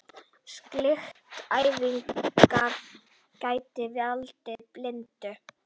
Slíkt athæfi gæti valdið blindu.